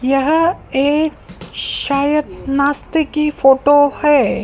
यह एक शायद नाश्ते की फोटो है।